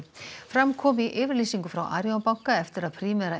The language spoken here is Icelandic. fram kom í yfirlýsingu frá Arion banka eftir að Primera